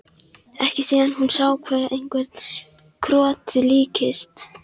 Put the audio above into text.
Ekki síðan hún sá hverju krotið líktist.